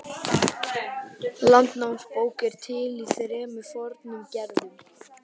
Landnámabók er til í þremur fornum gerðum.